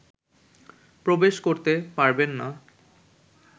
প্রবেশ করতে পারবেন না